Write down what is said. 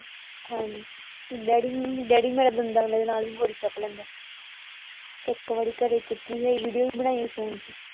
ਹਾਂ daddy um daddy ਮੇਰੇ ਦੰਦਾਂ ਦੇ ਨਾਲ ਵੀ ਬੋਰੀ ਚੁੱਕ ਲੈਂਦੇ ਇੱਕ ਵਾਰੀ ਘਰੇ ਚੁੱਕੀ ਹੀ ਵੀਡੀਓ ਵੀ ਬਣਾਈ ਹੀ ਆਪਾਂ।